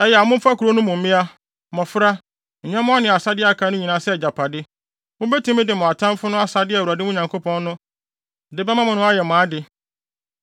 Ɛyɛ a momfa kurow no mu mmea, mmofra, nyɛmmoa ne asade a aka nyinaa sɛ agyapade. Mubetumi de mo atamfo no asade a Awurade, mo Nyankopɔn no, de bɛma mo no ayɛ mo ade.